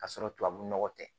Ka sɔrɔ tubabu nɔgɔ tɛ